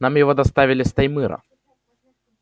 нам его доставили с таймыра